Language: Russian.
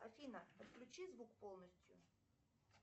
афина отключи звук полностью